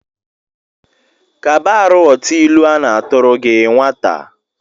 Kba arụ ghọta ilu a na-atụrụ gi nwata!